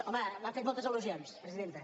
home m’han fet moltes al·lusions presidenta